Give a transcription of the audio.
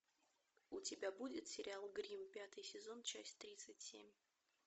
у тебя будет сериал гримм пятый сезон часть тридцать семь